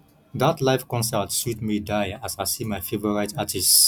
dat live concert sweet me die as i see my favourite artist